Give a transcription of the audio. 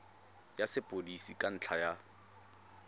ya sepodisi ka ntlha ya